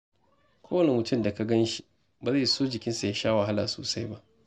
Kowane mutum da ka gan shi, ba zai so jikinsa ya sha wahala sosai ba.